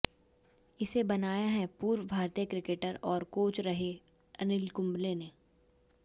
इसे बनाया है पूर्व भारतीय क्रिकेटर और कोच रहे अनिल कुंबले ने